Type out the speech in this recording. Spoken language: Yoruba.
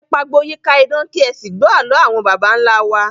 Ẹ pagbo yíká iná, kì ẹ sì gbọ́ àló àwọn baba ńlá wa